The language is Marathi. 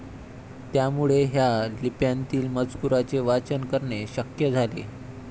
त्यामुळे ह्या लिप्यांतील मजकुराचे वाचन करणे शक्य झाले.